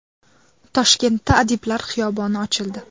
Toshkentda Adiblar xiyoboni ochildi .